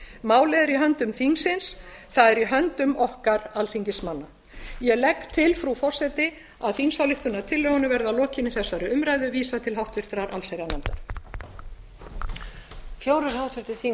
málið er í höndum þingsins að er í höndum okkar alþingismanna ég legg til frú forseti að þingsályktunartillögunni verði að lokinni þessari umræðu vísað til háttvirtrar allsherjarnefndar